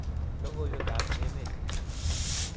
logoiwek ab emet